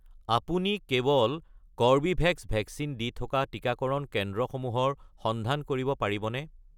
আপুনি কেৱল Corbevax vaccine দি থকা টিকাকৰণ কেন্দ্ৰসমূহৰ সন্ধান কৰিব পাৰিবনে?